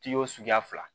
Kiyo suguya fila